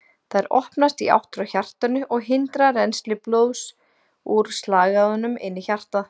Þær opnast í átt frá hjartanu og hindra rennsli blóðs úr slagæðunum inn í hjartað.